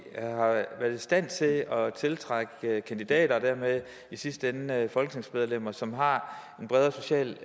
stand til at tiltrække kandidater og dermed i sidste ende folketingsmedlemmer som har en bredere social